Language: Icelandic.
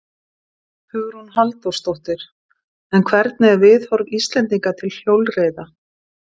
Hugrún Halldórsdóttir: En hvernig er viðhorf Íslendinga til hjólreiða?